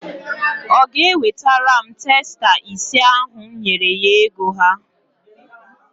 Ọ ga-ewetara m testa ise ahụ m nyere ya ego ha?